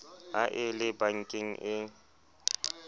ha e le bankeng e